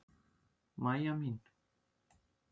Mæja mín.